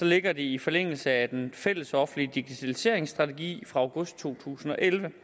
ligger det i forlængelse af den fællesoffentlige digitaliseringsstrategi fra august to tusind og elleve